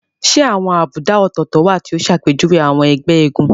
Ṣé àwọn àbùdá ọ̀tọ̀ọ̀tọ̀ wà tí ó ṣàpèjúwe àwọn ẹgbẹ́ eégún?